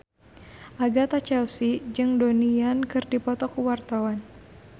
Agatha Chelsea jeung Donnie Yan keur dipoto ku wartawan